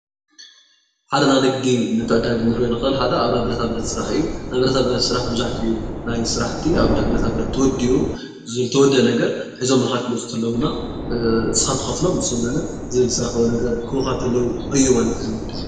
ሓደ ናይ ኒግድ ሓደ ኣብ ናይ ብረታብረተ ስራሓእዩ፡፡ ናይ ብረታብረተ ስራሓ መበዛሕቱኡ ናይትስራሕት በረታብርተ ተወዱኡ እዝ ዝተወደእ ነገረ ሕዞሞ ከዎፁ ከለዉ ዲማ ኒስካ ትኮፍሎሞኒሶም ለለዝበፆሖሞ ክቡካከለዉ እይ ማለት፡፡